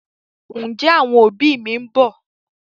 Ǹjẹ́ àwọn òbí mi ń bọ̀?